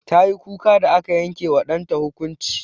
Tayi kuka da aka yanke wa ɗanta hukunci.